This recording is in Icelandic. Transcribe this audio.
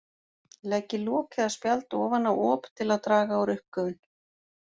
Leggið lok eða spjald ofan á op til að draga úr uppgufun.